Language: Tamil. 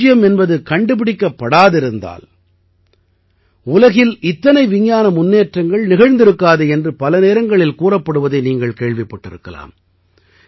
பூஜ்யம் என்பது கண்டுபிடிக்கப்படாதிருந்தால் உலகில் இத்தனை விஞ்ஞான முன்னேற்றங்கள் நிகழ்ந்திருக்காது என்று பல நேரங்களில் கூறப்படுவதை நீங்கள் கேள்விப்பட்டிருக்கலாம்